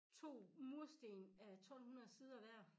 2 mursten á 12 hundrede sider hver